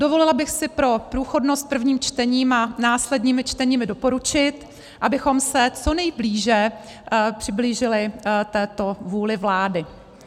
Dovolila bych si pro průchodnost prvním čtením a následnými čteními doporučit, abychom se co nejblíže přiblížili této vůli vlády.